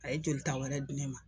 A ye jolita wɛrɛ di ne ma